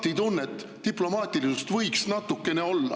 Taktitunnet ja diplomaatilisust võiks natukene olla …